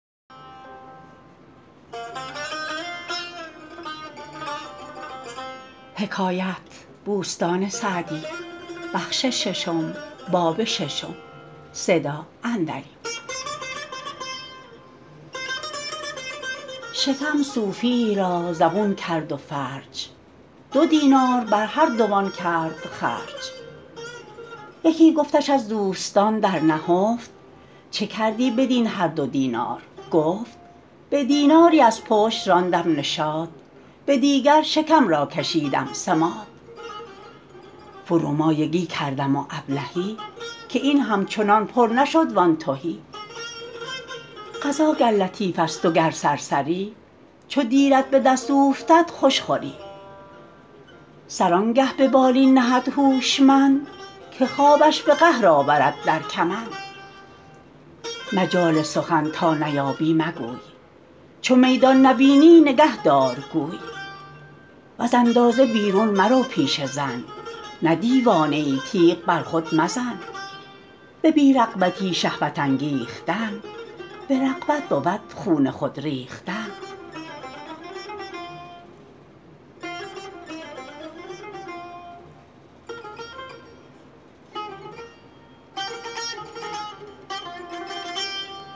شکم صوفیی را زبون کرد و فرج دو دینار بر هر دوان کرد خرج یکی گفتش از دوستان در نهفت چه کردی بدین هر دو دینار گفت به دیناری از پشت راندم نشاط به دیگر شکم را کشیدم سماط فرومایگی کردم و ابلهی که این همچنان پر نشد وآن تهی غذا گر لطیف است و گر سرسری چو دیرت به دست اوفتد خوش خوری سر آنگه به بالین نهد هوشمند که خوابش به قهر آورد در کمند مجال سخن تا نیابی مگوی چو میدان نبینی نگه دار گوی وز اندازه بیرون مرو پیش زن نه دیوانه ای تیغ بر خود مزن به بی رغبتی شهوت انگیختن به رغبت بود خون خود ریختن